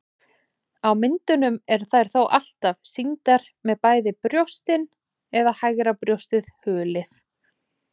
Á myndum eru þær þó alltaf sýndar með bæði brjóstin eða hægra brjóstið hulið.